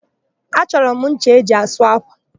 Achọrọ m ncha eji asụ ákwà.